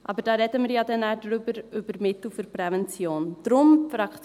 Aber darüber, über die Mittel der Prävention, reden wir dann ja noch.